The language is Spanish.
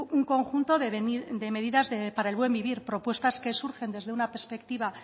un conjunto de medidas para el buen vivir propuestas que surgen desde una perspectiva